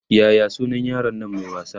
Yaya sunan yaron Nan Mai wasa?